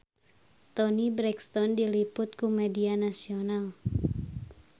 Toni Brexton diliput ku media nasional